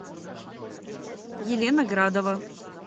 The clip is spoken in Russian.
елена градова